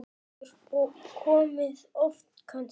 Haukur: Og komið oft kannski?